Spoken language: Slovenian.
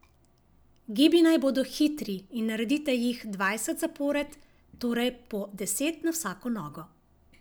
Gibi naj bodo hitri in naredite jih dvajset zapored, torej po deset na vsako nogo.